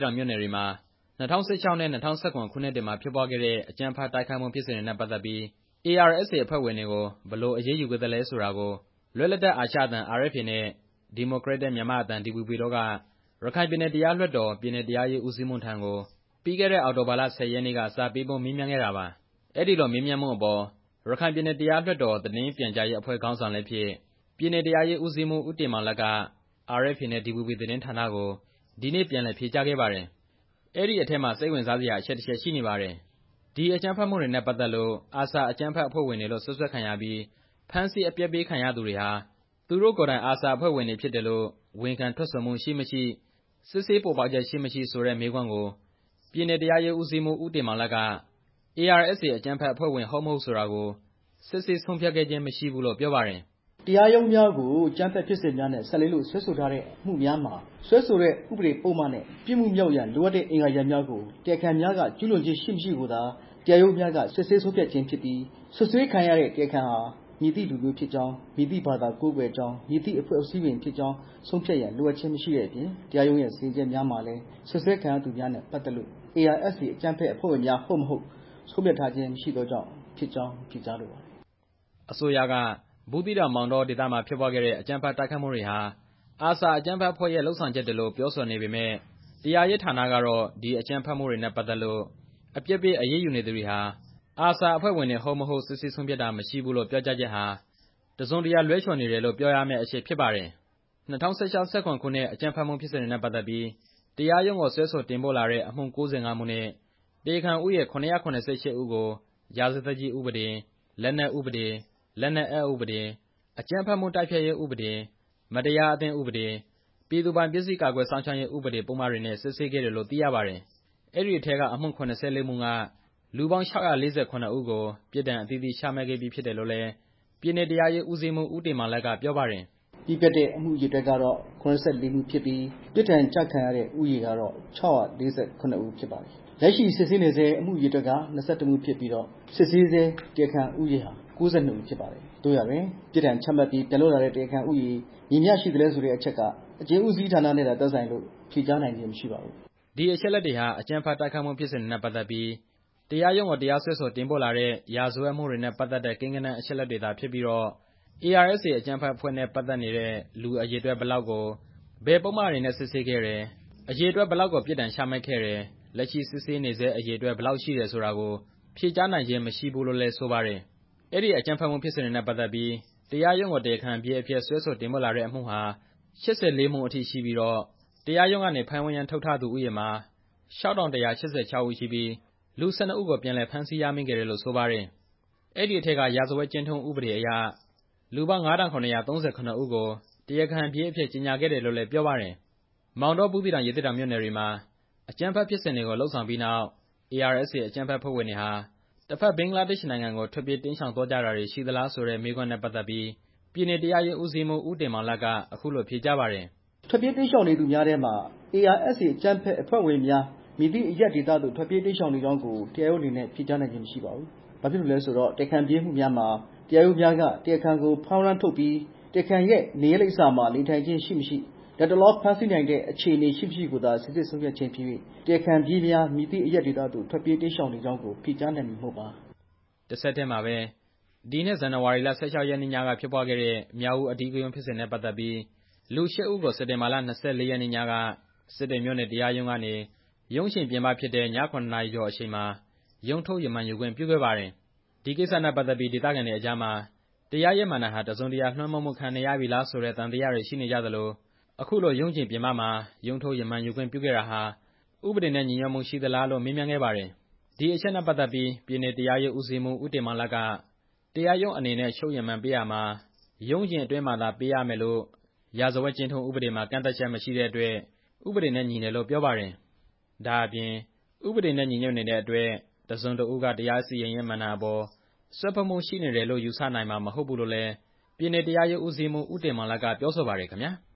တောင်မြို့နယ်တွေမှာ ၂၀၁၆ ခုနှစ်နဲ့ ၂၀၁၇ ခုနှစ်တွေမှာ ဖြစ်ပွားခဲ့တဲ့ အကြမ်းဖက်တိုက်ခိုက်မှုဖြစ်စဉ်တွေနဲ့ပတ်သက်ပြီး ARSA အဖွဲ့ဝင်တွေကို ဘယ်လိုအရေးယူခဲ့သလဲဆိုတာကို လွတ်လပ်တဲ့အာရှအသံ RFA နဲ့ ဒီမိုကရက်တစ်မြန်မာ့အသံ DVB တို့က ရခိုင်ပြည်နယ်တရားလွှတ်တော် ပြည်နယ်တရားရေး ဦးစီးမှူးထံကို ပြီးခဲ့တဲ့ အောက်တိုဘာလ ၁၀ ရက်နေ့က စာပေးပို့မေးမြန်းခဲ့တာပါ။ အဲဒီလိုမေးမြန်းမှုအပေါ် ရခိုင်ပြည်နယ် တရားလွှတ်တော် သတင်းပြန်ကြားရေးအဖွဲ့ ခေါင်းဆောင်လည်းဖြစ် ပြည်နယ်တရားရေးဦးစီးမှူး ဦးတင်မောင်လတ်က RFA နဲ့ DVB သတင်းဌာနကို ဒီနေ့ ပြန်လည်ဖြေကြားခဲ့ပါတယ်။ အဲဒီအထဲမှာ စိတ်ဝင်စားစရာ အချက်တစ်ချက် ရှိနေပါတယ်။ ဒီအကြမ်းဖက်မှုတွေနဲ့ပတ်သက်လို့ အာဆာ အကြမ်းဖက်အဖွဲ့ဝင်တွေလို့ စွပ်စွဲခံရပြီး ဖမ်းဆီးအပြစ်ပေးခံရသူတွေဟာ သူတို့ကိုယ်တိုင် အာဆာ အဖွဲ့ဝင်ဖြစ်တယ်လို့ ဝန်ခံထွက်ဆိုမှု ရှိမရှိ စစ်ဆေးပေါ်ပေါက်ချက် ရှိမရှိ ဆိုတဲ့ မေးခွန်းကို ပြည်နယ်တရားရေးဦးစီးမှူး ဦးတင်မောင်လတ်က ARSA အကြမ်းဖက်အဖွ့ဲဝင် ဟုတ်မဟုတ်ကို စစ်ဆေးဆုံးဖြတ်တာမရှိဘူးလို့ ပြောပါတယ်။ "တရားရုံးများကို အကြမ်းဖက်မှုဖြစ်စဉ်များနဲ့ ပတ်သက်လို့ စွဲဆိုထားတဲ့အမှုများမှာ စွဲဆိုတဲ့ ဥပဒေပုဒ်မနဲ့ ပြစ်မှုမြောက်ရန်လိုအပ်တဲ့ အင်္ဂါရပ်များကို တရားခံများက ကျူးလွန်ခြင်းရှိမရှိကိုသာ တရားရုံးများက စစ်ဆေးဆုံးဖြတ်ခြင်းဖြစ်ပြီး စွပ်စွဲခံရသောတရားခံမှာ မည်သည့်လူမျိုးဖြစ်ကြောင်း၊ မည်သည့်ဘာသာကိုးကွယ်ကြောင်း၊ မည်သည့်အဖွဲ့အစည်းဝင်ဖြစ်ကြောင်း ဆုံးဖြတ်ရန်လိုအပ်ခြင်း မရှိသည့်အပြင် တရားရုံး၏စီရင်ချက်များမှာလည်း စွပ်စွဲခံရသူများနဲ့ပတ်သက်၍ ARSA အကြမ်းဖက်အဖွဲ့ဝင်များ ဟုတ် မဟုတ် ဆုံးဖြတ်ထားခြင်းမရှိသောကြောင့်ဖြစ်ကြောင်း ဖြေကြားလိုပါတယ်" အစိုးရက ဘူးသီးတောင်-မောင်တောဒေသမှာ ဖြစ်ပွားခဲ့တဲ့ အကြမ်းဖက်တိုက်ခိုက်မှုတွေဟာ အာဆာ အကြမ်းဖက်အဖွဲ့ရဲ့ လုပ်ဆောင်ချက်တွေလို့ ပြောဆိုနေပေမယ့် တရားရေးဌာနကတော့ ဒီအကြမ်းဖက်မှုတွေနဲ့ပတ်သက်လို့ အပြစ်ပေးအရေးယူနေသူတွေဟာ အာဆာ အဖွဲ့ဝင်တွေ ဟုတ် မဟုတ် စစ်ဆေးဆုံးဖြတ်တာမရှိဘူးလို့ ပြောကြားချက်ဟာ တစ်စုံတစ်ရာ လွဲချော်နေတယ်လို့ ပြောရမယ့်အချက်ဖြစ်ပါတယ်။ ၂၀၁၆၊ ၂၀၁၇ ခုနှစ် အကြမ်းဖက်မှုဖြစ်စဉ်တွေနဲ့ပတ်သက်ပြီး တရားရုံးကိုစွဲဆိုတင်ပို့လာတဲ့ အမှု ၉၅ မှုနဲ့ တရားခံဦးရေ ၇၇၈ ဦးကို ရာဇသတ်ကြီးဥပဒေ၊ လက်နက်ဥပဒေ၊ လက်နက်အက်ဥပဒေ၊ အကြမ်းဖက်တိုက်ဖျက်ရေးဥပဒေ၊ မတရားအသင်းဥပဒေ၊ ပြည်သူပိုင်ပစ္စည်း ကာကွယ်စောင့်ရှောက်ရေးဥပဒေ ပုဒ်မတွေနဲ့ စစ်ဆေးခဲ့တယ်လို့သိရပါတယ်။ အဲဒီအထဲက အမှု ၇၄ မှုထဲက လူပေါင်း ၆၄၇ ဦးကို ပြစ်ဒဏ်အသီးသီးချမှတ်ခဲ့ပြီးဖြစ်တယ်လို့လည်း ပြည်နယ်တရားရေးဦးစီးမှူး ဦးတင်မောင်လတ်က ပြောပါတယ်။ "ပြီးပြတ်တဲ့ အမှုအရေအတွက်ကတော့ ၇၄ မှုဖြစ်ပြီး ပြစ်ဒဏ်ကျခံရသည့် ဦးရေမှာ ၆၄၇ ဦးဖြစ်ပါတယ်။ လက်ရှိစစ်ဆေးနေဆဲ အမှု အရေအတွက်ကတော့ ၂၁ မှုဖြစ်ပြီး စစ်ဆေးဆဲ တရားခံဦးရေဟာ ၉၂ ဦးဖြစ်ပါတယ်။ သို့ရာတွင် ပြစ်ဒဏ်ချမှတ်ပြီး ပြန်လွတ်လာတဲ့ တရားခံဦးရေ မည်မျှရှိသလဲဆိုတဲ့အချက်မှာ အကျဉ်းဦးစီးဌာနနဲ့သာ သက်ဆိုင်မှုရှိ၍ ဖြေကြားနိုင်ခြင်းမရှိပါ" ဒီအချက်အလက်တွေဟာ အကြမ်းဖက်တိုက်ခိုက်မှုဖြစ်စဉ်တွေနဲ့ပတ်သက်ပြီး တရားရုံးကိုတရားစွဲ ဆိုတင်ပို့လာတဲ့ ရာဇဝတ်မှုတွေနဲ့ပတ်သက်တဲ့ ကိန်းဂဏန်းအချက်အလက်တွေသာဖြစ်ပြီးတော့ ARSA အကြမ်းဖက်အဖွဲ့နဲ့ပတ်သက်နေတဲ့ လူအရေအတွက် ဘယ်လောက်ကို ဘယ်ပုဒ်မတွေနဲ့ စစ်ဆေးခဲ့တယ်၊ အရေအတွက်ဘယ်လောက်ကို ပြစ်ဒဏ်ချမှတ်ခဲ့တယ်၊ လက်ရှိစစ်ဆေးနေဆဲ အရေအတွက် ဘယ်လောက်ရှိတယ်ဆိုတာကို ဖြေကြားနိုင်ခြင်းမရှိဘူးလို့လည်း ဆိုပါတယ်။ အဲဒီအကြမ်းဖက်မှုဖြစ်စဉ်တွေနဲ့ပတ်သက်ပြီး တရားရုံးကို တရားခံပြေးအဖြစ်စွဲဆိုတင်ပို့လာတဲ့အမှုဟာ ၈၄ မှုအထိရှိပြီးတော့ တရားရုံးကနေ ဖမ်းဝရမ်းထုတ်ထားတဲ့ဦးရေမှာ ၆၁၈၆ ဦးရှိပြီး လူ ၁၂ ဦးကို ပြန်လည်ဖမ်းဆီးရမိခဲ့တယ်လို့ဆိုပါတယ်။ အဲဒီအထဲက ရာဇဝတ်ကျင့်ထုံးဥပဒေအရ လူပေါင်း ၅၇၃၇ ဦးကို တရားခံပြေးအဖြစ် ကြေညာခဲ့တယ်လို့လည်း ပြောပါတယ်။ မောင်တော၊ ဘူးသီးတောင်၊ ရသေ့တောင်မြို့နယ်တွေမှာ အကြမ်းဖက်ဖြစ်စဉ်တွေကို လုပ်ဆောင်ပြီးနောက် ARSA အကြမ်းဖက်အဖွဲ့ဝင်တွေဟာ တစ်ဘက်ဘင်္ဂလားဒေ့ရ်ှနိုင်ငံကို ထွက်ပြေးတိမ်းရှောင်သွားကြတာတွေရှိသလားဆိုတဲ့ မေးခွန်းနဲ့ပတ်သက်ပြီး ပြည်နယ်တရားရေးဦးစီးမှူး ဦးတင်မောင်လတ် က အခုလို ဖြေကြားပါတယ်။ "ထွက်ပြေးတိမ်းရှောင်နေသူများထဲမှာ ARSA အကြမ်းဖက်အဖွဲ့ဝင်များ မည်သည့်အရပ်ဒေသသို့ ထွက်ပြေးတိမ်းရှောင်နေကြောင်းကို တရားရုံးအနေနဲ့ ဖြေကြားနိုင်ခြင်းမရှိပါဘူး။ ဘာဖြစ်လို့လဲဆိုတော့ တရားခံပြေးမှုများမှာ တရားရုံးများက တရားခံကို ဖမ်းဝရမ်းထုတ်ပြီး တရားခံ၏နေရပ်လိပ်စာတွင် နေထိုင်ခြင်း ရှိ၊ မရှိ လတ်တလောဖမ်းဆီးနိုင်သည့်အခြေအနေ ရှိ၊ မရှိကိုသာ စိစစ်ဆုံးဖြတ်ခြင်းဖြစ်၍ တရားခံပြေးများ မည်သည့်အရပ်ဒေသသို့ ထွက်ပြေးတိမ်းရှောင်နေကြောင်းကို ဖြေကြားနိုင်မည်မဟုတ်ပါ" တဆက်တည်းမှာပဲ ဒီနှစ် ဇန်နဝါရီလ ၁၆ ရက်နေ့ညကဖြစ်ပွားခဲ့တဲ့ မြောက်ဦး အဓိကရုဏ်းဖြစ်စဉ်တွေနဲ့ ပတ်သက်ပြီး လူ ၈ ဦးကို စက်တင်ဘာလ ၂၄ ရက်နေ့ညက စစ်တွေမြို့နယ် တရားရုံးကနေ ရုံးချိန်ပြင်ပဖြစ်တဲ့ ည ၇ နာရီကျော်အချိန်မှာ ရုံးထုတ်ရမန်ယူခွင့်ပြုခဲ့ပါတယ်။ ဒီကိစ္စနဲ့ပတ်သက်ပြီး ဒေသခံတွေအကြားမှာ တရားရေးမဏ္ဍိုင်ဟာ တစ်စုံတစ်ရာ လွှမ်းမိုးမှုခံနေရပြီလားဆိုတဲ့ သံသယတွေရှိနေကြသလို အခုလို ရုံးချိန်ပြင်ပမှာ ရုံးထုတ် ရမန်ယူခွင့်ပြုခဲ့တာဟာ ဥပဒေနဲ့ ညီညွတ်မှု ရှိသလားလို့ မေးမြန်းခဲ့ပါတယ်။ ဒီအချက်နဲ့ပတ်သက်ပြီး ပြည်နယ်တရားရေးဦးစီးမှူး ဦးတင်မောင်လတ်က တရားရုံးအနေနဲ့ ချုပ်ရီမန်ပေးရာမှာ ရုံးချိန်အတွင်းမှာသာ ပေးရမယ်လို့ ရာဇဝတ်ကျင့်ထုံးဥပဒေမှာ ကန့်သတ်ချက်မရှိတဲ့အတွက် ဥပဒေနဲ့ညီတယ်လို့ ပြောပါတယ်။ ဒါ့အပြင် ဥပဒေနဲ့ညီညွတ်နေတဲ့အတွက် တစ်စုံတစ်ဦးက တရားစီရင်ရေးမဏ္ဍိုင်အပေါ် စွက်ဖက်မှုရှိနေတယ်လို့ ယူဆနိုင်မှာမဟုတ်ဘူးလို့လည်း ပြည်နယ်တရားရေးဦးစီးမှူး ဦးတင်မောင်လတ် က ပြောဆိုပါတယ်ခင်ဗျာ။